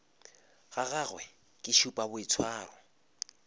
ga gagwe ke šupa boitshwaro